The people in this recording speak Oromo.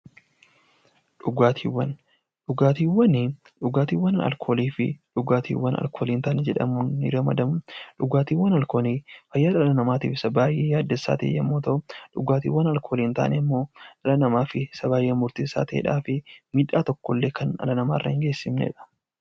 Dhugaatiiwwan dhugaatiiwwan alkoolii fi dhugaatiiwwan alkoolii hin taane jedhamuun ramadamu. Dhugaatiiwwan alkoolii fayyaa dhala namaatiif baay'ee yaaddessaa ta'e yommuu ta'u, dhugaatiiwwan alkoolii hin taane immoo dhala namaatiif baay'ee murteessaa kan ta'ee fi miidhaa tokkollee kan dhala namaarraan hin geessifnedha.